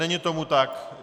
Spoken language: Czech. Není tomu tak.